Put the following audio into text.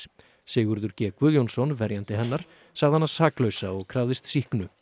Sigurður g Guðjónsson verjandi hennar sagði hana saklausa og krafðist sýknu